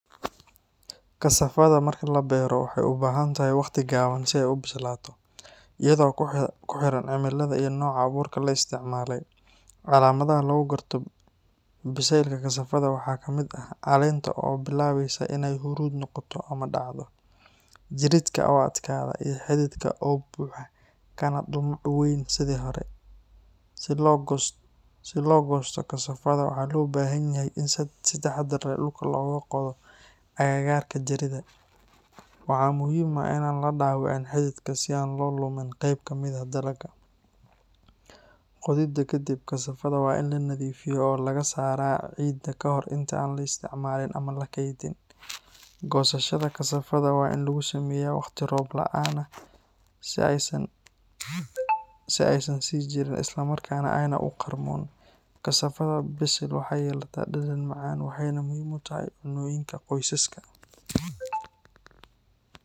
Kasafaada marka la beero, waxay u baahan tahay waqti gaaban si ay u bislaato, iyadoo ku xiran cimilada iyo nooca abuurka la isticmaalay. Calaamadaha lagu garto bisaylka kasafaada waxaa ka mid ah caleenta oo bilaabeysa inay huruud noqoto ama dhacdo, jiridka oo adkaada, iyo xididka oo buuxa kana dhumuc weyn sidii hore. Si loo goosto kasafaada, waxaa loo baahan yahay in si taxaddar leh dhulka looga qodo agagaarka jirida. Waxaa muhiim ah in aan la dhaawicin xididka si aan loo lumin qayb ka mid ah dalagga. Qodida kadib, kasafaada waa in la nadiifiyaa oo laga saaraa ciidda kahor inta aan la isticmaalin ama la keydin. Goosashada kasafaada waa in lagu sameeyaa waqti roob la’aan ah si ay u sii jiraan isla markaana aanay u qarmuun. Kasafaada bisil waxay yeelataa dhadhan macaan waxayna muhiim u tahay cunnooyinka qoysaska.